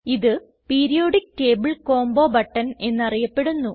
ഇത് periodic table combo button എന്നറിയപ്പെടുന്നു